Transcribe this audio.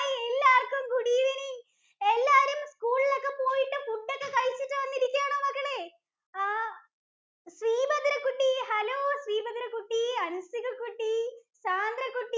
എല്ലാര്‍ക്കും good evening എല്ലാരും school ഇല്‍ ഒക്കെ പോയിട്ട് food ഒക്കെ കഴിച്ചിട്ട് വന്നിരിക്കുവാണോ മക്കളേ? ആഹ് ശ്രീഭദ്ര കുട്ടി, hello ശ്രീഭദ്ര കുട്ടി, അന്‍സിക കുട്ടി, സാന്ദ്ര കുട്ടി